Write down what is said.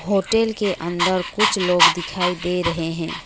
Hotel के अंदर कुछ लोग दिखाई दे रहे हैं।